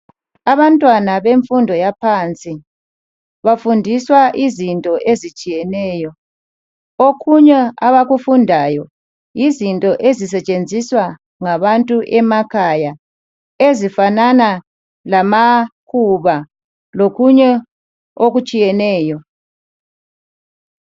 Abantwana bemfundo yaphansi. Bafundiswa uzinto ezitshiyeneyo. Okunye abakufundayo yizinto ezisetshenziswa ngabantuemakhayaya ezifanana lamakhuba lokunye okutsheyemǰeyo.